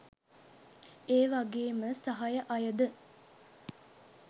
ඒවගේම සහය අයද